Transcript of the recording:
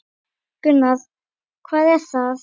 Gunnar: Hvað er það?